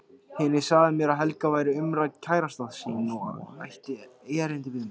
Hinni sagði mér að Helga væri umrædd kærasta sín og ætti erindi við mig.